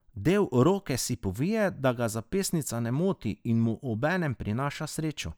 Del roke si povije, da ga zapestnica ne moti in mu obenem prinaša srečo.